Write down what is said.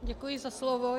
Děkuji za slovo.